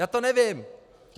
Já to nevím!